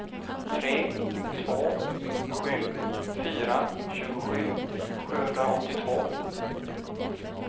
tre två sju fyra tjugosju sjuhundraåttiotvå